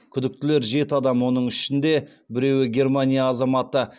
күдіктілер жеті адам оның ішінде біреуі германия азаматы